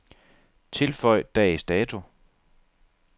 Tilføj dags dato.